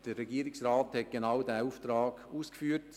Der Regierungsrat hat genau diesen Auftrag ausgeführt.